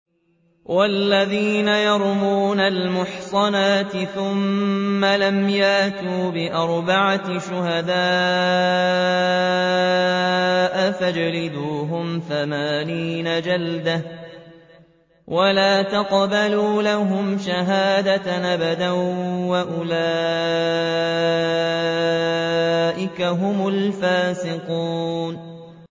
وَالَّذِينَ يَرْمُونَ الْمُحْصَنَاتِ ثُمَّ لَمْ يَأْتُوا بِأَرْبَعَةِ شُهَدَاءَ فَاجْلِدُوهُمْ ثَمَانِينَ جَلْدَةً وَلَا تَقْبَلُوا لَهُمْ شَهَادَةً أَبَدًا ۚ وَأُولَٰئِكَ هُمُ الْفَاسِقُونَ